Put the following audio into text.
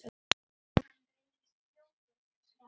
Hann reynist fljótur til svars.